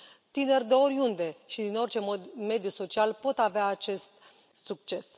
Tineri de oriunde și din orice mediu social pot avea acest succes.